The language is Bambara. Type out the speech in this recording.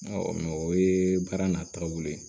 o ye baara nataw ye